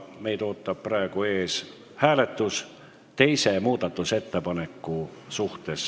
Ees ootab hääletus teise muudatusettepaneku üle.